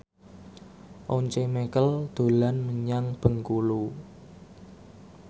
Once Mekel dolan menyang Bengkulu